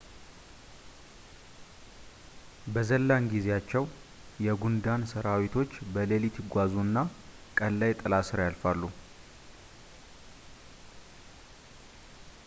በ ዘላን ጊዜያቸው የ ጉንዳን ሰራዊቶች በሌሊት ይጓዙ እና ቀን ላይ ጥላ ስር ያርፋሉ